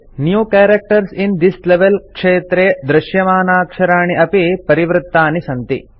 new characters in this level क्षेत्रे field दृश्यमानाक्षराणि अपि परिवृत्तानि सन्ति